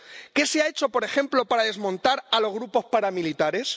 ¿Qué se ha hecho, por ejemplo, para desmontar los grupos paramilitares?